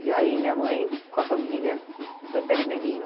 E aí minha mãe, com a família, foi para Ermelino.